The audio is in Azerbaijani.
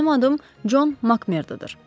Mənim adım Con Mak Merdodur.